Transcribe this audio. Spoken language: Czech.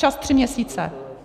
Čas tři měsíce.